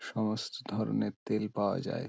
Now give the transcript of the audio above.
সমস্ত ধরণের তেল পাওয়া যায়।